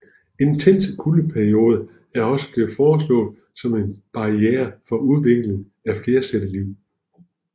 Intense kuldeperioder er også blevet foreslået som en barriere for udviklingen af flercellet liv